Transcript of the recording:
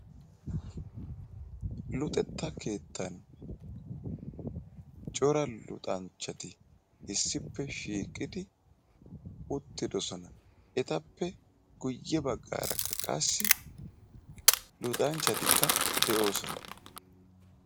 Luxetta keettaan cora luxxanchchati issippe shiiqqidi uttiddossona etappe guye baggaarakka qassi luxanchchatikka de'oosona.